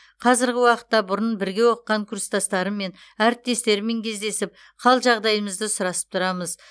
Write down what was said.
қазіргі уақытта бұрын бірге оқыған курстастарыммен әріптестеріммен кездесіп қал жағдайымызды сұрасып тұрамыз